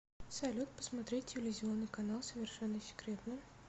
салют посмотреть телевизионный канал совершенно секретно